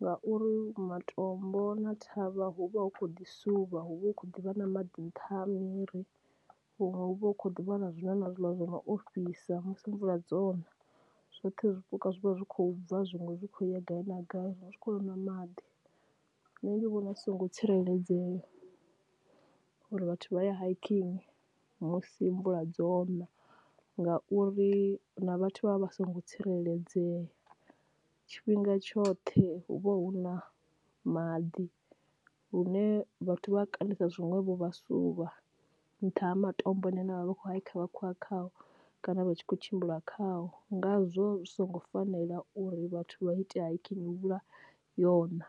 ngauri matombo na ṱhavha hu vha hu khou ḓi suvha hu vha hu khou ḓivha na maḓi nṱha miri huṅwe hu vha hu khou ḓivha na zwiḽa na zwiḽa zwo no ofhisa musi mvula dzo na, zwoṱhe zwipuka zwi vha zwi khou bva zwiṅwe zwi khou ya gai na gai zwi kho nwa maḓi. Nṋe ndi vhona zwi songo tsireledzea uri vhathu vha ye hiking musi mvula dzo na ngauri na vhathu vha vha vha songo tsireledzea, tshifhinga tshoṱhe hu vha hu na maḓi lune vhathu vha a kandisa zwiṅwevho vhasa suvha nṱha ha matombo a ne a ne vha vha vha khou hayikha vha khou ya khao kana vha tshi kho tshimbila khao, ngazwo zwi songo fanela uri vhathu vha ite hiking mvhuḽa yo na.